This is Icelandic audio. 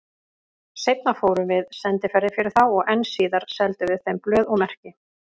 Seinna fórum við sendiferðir fyrir þá og enn síðar seldum við þeim blöð og merki.